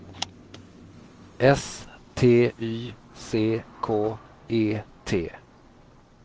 S T Y C K E T